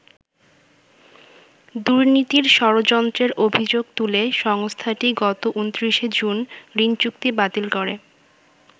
দুর্নীতির ষড়যন্ত্রের অভিযোগ তুলে সংস্থাটি গত ২৯শে জুন ঋণচুক্তি বাতিল করে।